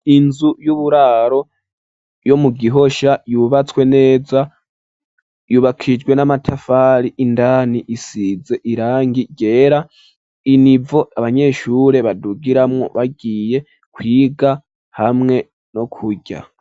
Inzu y'uburaro yo mu gihosha yubatse nezayubakishijwe n'amatafari indani isize irangi ryera, inivo abanyeshure badugiramwo bagiye kwiga hamwe no kurya.